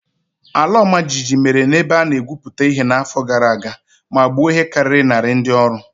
Ala ọmajiji mere na ebe a na-egwuputa ihe n'afọ gara aga ma gbuo ihe karịrị narị ndị ọrụ.